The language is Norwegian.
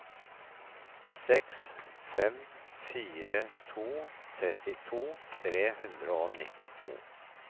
seks fem fire to trettito tre hundre og nittito